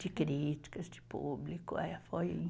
De críticas, de público, é, foi